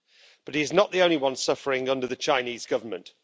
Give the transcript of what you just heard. But he's not the only one suffering under the Chinese Government.